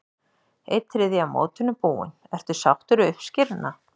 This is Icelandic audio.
Einn þriðji af mótinu búinn, ertu sáttur við uppskeruna?